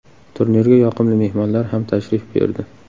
Turnirga yoqimli mehmonlar ham tashrif buyurdi.